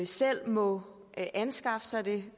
selv må anskaffe sig det